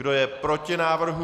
Kdo je proti návrhu?